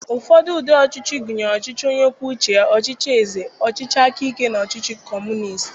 Ụfọdụ ụdị ọchịchị gụnyere ọchịchị onye kwuo uche ya, ọchịchị eze, ọchịchị aka ike, na ọchịchị Kọmunist.